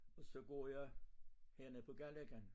Og så går jeg hernede på Galløkken